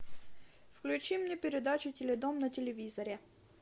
включи мне передачу теледом на телевизоре